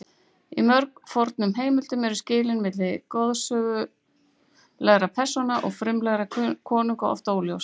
Í mjög fornum heimildum eru skilin milli goðsögulegra persóna og raunverulega konunga oft óljós.